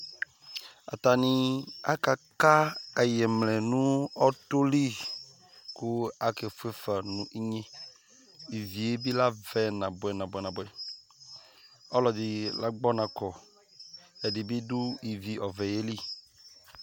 atani aka ka ayemlɛ no ɔtɔ li kò ake fue fa no inye ivi yɛ bi la vɛ na boɛ na boɛ ɔlò ɛdi la gbɔ ɔna kɔ ɛdi bi do ivi ɔvɛ yɛ li